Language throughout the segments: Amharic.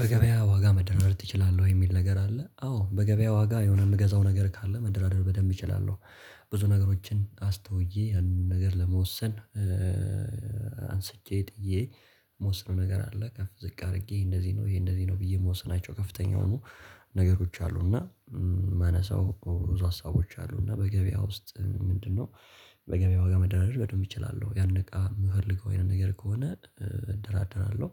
በገበያ ዋጋ መደናደር ትችላለህ ወይ የሚል ነገር አለ አዎ በገበያ ዋጋ የሆነ የምገዛው ነገር ካለ መደራደር በደንብ እችላለሁ። ብዙ ነገሮችን አስተውዬ አንድ ነገር ለመወሰን። አንስቼ ጥዬ። መወሰን ነገር አለ ከፍ ዝቅ አድርጌ እንደዚህ ነው ይሄ እንደዚህ ነው ብዬ መወሰናቸው ከፍተኛ ሆኖ። ነገሮች አሉ እና ማነሳው ብዙ ሀሳቦች አሉ እና በገበያ ውስጥ ምንድነው? በገበያ ዋጋ መደራደር ይቻላል ያን ነገር የምፈልገው ይሄንን ነገር ከሆነ እንደራደራለሁ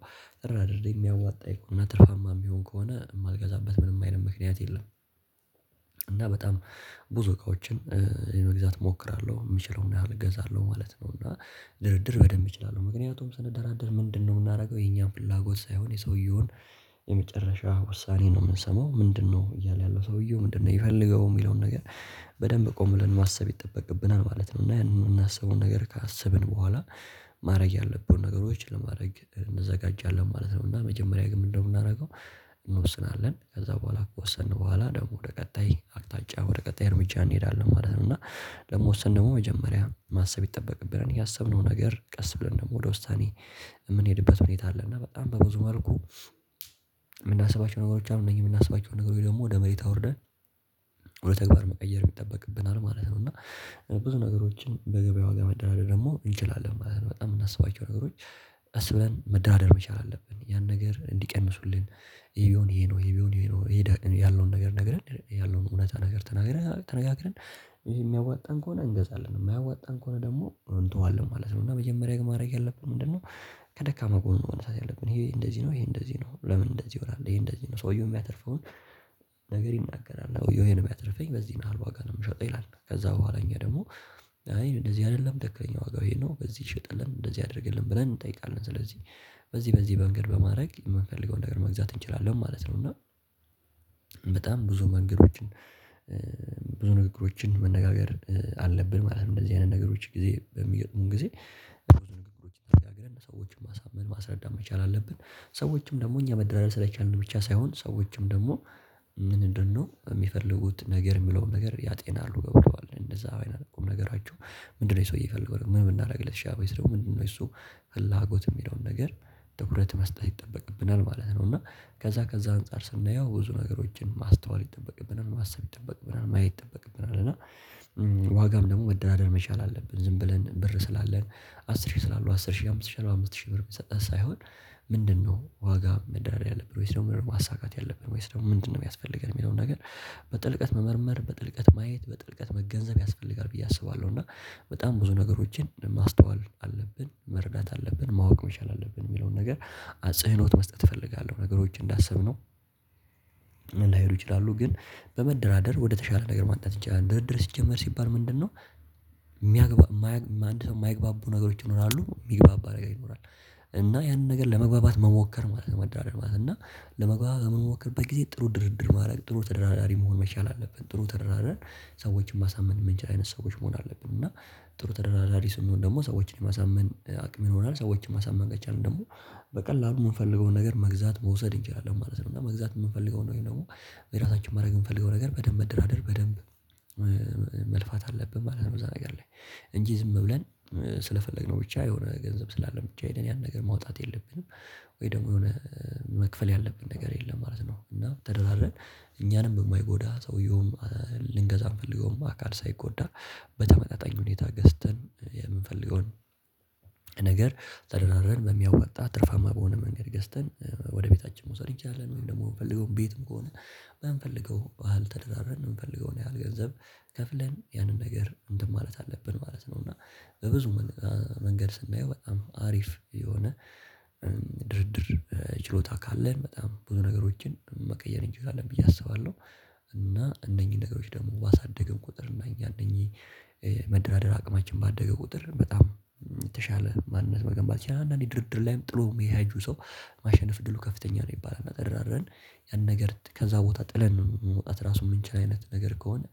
እራድርድ የሚያዋጣ የእኮ ነጥብማ የሚሆን ከሆነ የማልገዛበት ምንም አይነት ምክንያት የለም። እና በጣም ብዙ ነገሮችን መግዛት እሞክራለሁ የምችለውን ያህል እገዛለሁ ማለት ነው። እና ድርድር በደንብ እችላለሁ ምክንያቱም ስንደራደር ምንድነው የምናደርገው የኛም ፍላጎት ሳይሆን የሰውየውን የመጨረሻ ውሳኔ ነው የምንሰማው ምንድነው እያለ ያለው ሰውየው ምንድነው የሚፈልገው የሚለውን ነገር። በደንብ ቆም ብለን ማሰብ ይጠበቅብናል ማለት ነው። እና ያን የምናስበውን ነገር ካሰብን በኋላ። ማድረግ ያለብን ነገሮችን ለማድረግ እንዘጋጃለን ማለት ነው። እና መጀመሪያ ግን ምንድነው የምናደርገው? እንወስናለን ከዛ በኋላ ከወሰንን በኋላ ደግሞ ወደ ቀጣይ አቅጣጫ ወደ ቀጣይ እርምጃ እንሄዳለን ማለት ነው። እና ደግሞ ወሰን ደግሞ መጀመሪያ ማሰብ ይጠበቅብናል ያሰብነው ነገር ቀስ ብለን ደግሞ ወደ ውሳኔ የሚል አለ እና በጣም በብዙ መልኩ። የምናስባቸው ነገሮች አሉ እነዚህ የምናስባቸው ነገሮች ደግሞ ወደ መሬት አውርደን። ወደ ተግባር መቀየር የሚጠበቅብናል ማለት ነው። እና ብዙ ነገሮችን በገበያ ዋጋ መደራደር ደግሞ እንችላለን ማለት ነው። በጣም የምናስባቸው ነገሮች። አስብለን መደራደር መቻል አለብን ያን ነገር እንዲቀምሱልን። ይሄ ቢሆን ይሄ ነው ይሄ ቢሆን ይሄ ነው ያለውን ነገር ነግረን ያለውን እውነት ነገር ተናግረን ተነጋግረን። ይሄ የሚያዋጣን ከሆነ እንገዛለን የማያዋጣን ከሆነ ደግሞ እንተዋለን ማለት ነው። እና መጀመሪያ ግን ማድረግ ያለብን ምንድነው? ከደካማ ጎን ማድረግ ያለብን ይሄ እንደዚህ ነው ይሄ እንደዚህ ነው ለምን እንደዚህ ይሆናል ይሄ እንደዚህ ነው ሰውየው የሚያተርፈውን። ነገር ይናገራል ነው ይሄን ቢያትርፈኝ በዚህ መሃል ዋጋ ነው የምሸጠው ይላል ከዛ በኋለ እኛ ደግሞ አይ እንደዚህ አይደለም ደክለኛ ዋጋው ይሄ ነው በዚህ ይሸጠልም እንደዚህ አደርገልን ብለን እንጠይቃለን ስለዚህ። በዚህ በዚህ መንገድ በማድረግ የምንፈልገውን ነገር መግዛት እንችላለን ማለት ነው። እና በጣም ብዙ መንገዶችን። ብዙ ንግግሮችን መነጋገር አለብን ማለት ነው። እንደዚህ አይነት ነገሮች ጊዜ በሚገጥሙን ጊዜ። ብዙ ንግግሮችን አድርገን ሰዎችን ማሳመን ማስረዳት መቻል አለብን። ሰዎችም ደግሞ እኛ መደራደር ስለቻልን ብቻ ሳይሆን ሰዎችም ደግሞ። ምንድነው የሚፈልጉት ነገር የሚለውን ነገር ያጤናሉ ገብተዋል እንደዛ አይነት ነገራቸው። ምንድነው ሰውዬ የፈለገው ምን ልትሻው ይሰራል ምንድነው እሱ? ፍላጎት የሚለውን ነገር። ትኩረት መስጠት ይጠበቅብናል ማለት ነው። እና ከዛ ከዛ አንፃር ስናየው ብዙ ነገሮችን ማስተዋል ይጠበቅብናል ማሰብ ይጠበቅብናል ማየት ይጠበቅብናል እና። ዋጋም ደግሞ መደራደር መቻል አለብን ዝም ብለን ብር ስላለን አስር ሺህ ስላለው አስር ሺህ አምስት ሺህ አራት አምስት ሺህ ብር መስጠት ሳይሆን። ምንድነው ዋጋ መዳሪያ ያለብን ወይስ ደግሞ ማሳካት ያለብን ወይስ ደግሞ ምንድነው የሚያስፈልገን የሚለውን ነገር። በጥልቀት መመርመር በጥልቀት ማየት በጥልቀት መገንዘብ ያስፈልጋል ብዬ አስባለሁ እና። በጣም ብዙ ነገሮችን ማስተዋል አለብን መረዳት አለብን ማወቅ መቻል አለብን የሚለውን ነገር። አጽህኖት መስጠት እፈልጋለሁ ነገሮች እንዳሰብነው። ምን ላይሉ ይችላሉ ግን። በመደራደር ወደተሻለ ነገር ማጣት ድርድር ሲጀመር ሲባል ምንድነው? የሚያግባ የማይግባባ የማይግባባ ነገሮች ይኖራሉ የሚግባባ ነገር ይኖራል። እና ያንን ነገር ለመግባባት መሞከር ማለት ነው ማለት ነው። እና ለመግባባት መሞከር በጊዜ ጥሩ ድርድር ማድረግ ጥሩ ተደራዳሪ መሆን መቻል አለብን። ጥሩ ተደራዳሪ። ሰዎችን ማሳመን የምንችል አይነት ሰዎች መሆን አለብን። እና ጥሩ ተደራዳሪ ስንሆን ደግሞ ሰዎችን የማሳመን አቅም ይሆናል ሰዎችን ማሳመን ከቻልን ደግሞ። በቀላሉ የምንፈልገውን ነገር መግዛት መውሰድ እንችላለን ማለት ነው። እና መግዛት የምንፈልገውን ወይም ደግሞ። የራሳችን ማድረግ የምፈልገው ነገር በደንብ መደራደር በደንብ። መልፋት አለብን ማለት ነው በዛ ነገር ላይ እንጂ ዝም ብለን። ስለፈለግነው ብቻ የሆነ ገንዘብ ስላለ ብቻ ሄደን ያን ነገር ማውጣት የለብንም። ወይ ደግሞ የሆነ መክፈል ያለብን ነገር የለም ማለት ነው። እና ተደራድረን። እኛንም የማይጎዳ ሰውየውም። ልንገዛም ፈልገውም አካል ሳይጎዳ። በተመጣጣኝ ሁኔታ ገዝተን የምንፈልገውን። ነገር ተደራረን በሚያዋጣ ትርፋማ በሆነ መንገድ ገዝተን ወደ ቤታችን መውሰድ ይቻላል። ወይም ደግሞ የምፈልገው ቤትም ከሆነ። የምፈልገው አልተዳረንም የምፈልገውን ያህል ገንዘብ። ከፍለን ያንን ነገር እንትን ማለት አለብን ማለት ነው። እና በብዙ መንገድ ስናየው በጣም አሪፍ የሆነ። ድርድር ችሎታ ካለን በጣም ብዙ ነገሮችን መቀየር እንላለን ብዬ አስባለሁ። እና እነኚህን ነገሮች ደግሞ ባሳደግን ቁጥር እና እኛ እነኚህ። መደራደር አቅማችን ባደገ ቁጥር በጣም የተሻለ ማንነት መገንባት ያንን ድርድር ላይም ጥሎ የሚያያጁ ሰው። ማሸነፍ ድሉ ከፍተኛ ነው የሚባል አደራድረን። ያን ነገር ከዛ ቦታ ጥለን ነው የምንወጣት ራሱ የምንችል አይነት ነገር ከሆነ።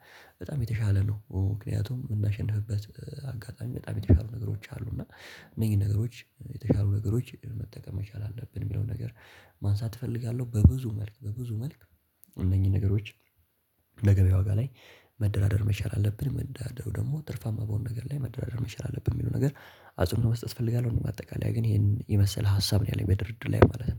በጣም የተሻለ ነው ምክንያቱም የምናሸንፍበት አጋጣሚ በጣም የተሻሉ ነገሮች አሉ እና። እነዚህን ነገሮች የተሻሉ ነገሮች መጠቀም መቻል አለብን የሚለውን ነገር። ማንሳት እፈልጋለሁ በብዙ መልክ በብዙ መልክ እነኚህን ነገሮች። ለገበያ ዋጋ ላይ። መደራደር መቻል አለብን የመደራደር ደግሞ ትርፋማ በሆነ ነገር ላይ መደራደር መቻል አለብህ የሚለው ነገር። አጽኖት መስጠት እፈልጋለሁ። እኔ በአጠቃላይ ግን ይሄን የመሰለ ሀሳብ ነው ያለኝ በድርድር ላይ ማለት ነው።